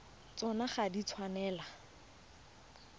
tsona ga di a tshwanela